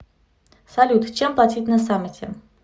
салют чем платить на самете